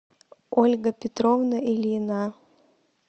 ольга петровна ильина